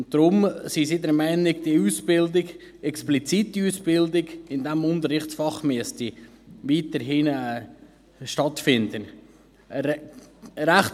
Deshalb sind sie der Meinung, dass die Ausbildung in diesem Unterrichtsfach weiterhin explizit stattfinden müsste.